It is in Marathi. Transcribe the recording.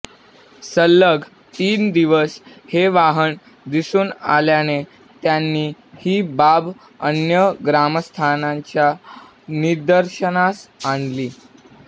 सलग तीन दिवस हे वाहन दिसून आल्याने त्यांनी ही बाब अन्य ग्रामस्थांच्या निदर्शनास आणली